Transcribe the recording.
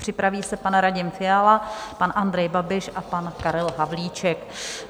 Připraví se pan Radim Fiala, pan Andrej Babiš a pan Karel Havlíček.